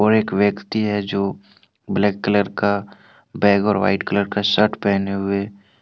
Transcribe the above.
एक व्यक्ति है जो ब्लैक कलर का बैग और वाइट कलर का शर्ट पहने हुए--